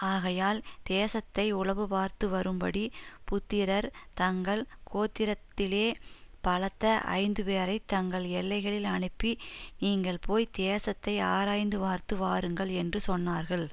ஆகையால் தேசத்தை உளவுபார்த்து வரும்படி புத்திரர் தங்கள் கோத்திரத்திலே பலத்த ஐந்துபேரைத் தங்கள் எல்லைகளில் அனுப்பி நீங்கள் போய் தேசத்தை ஆராய்ந்து பார்த்து வாருங்கள் என்று சொன்னார்கள்